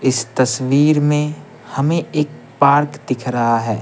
इस तस्वीर में हमें एक पार्क दिख रहा है।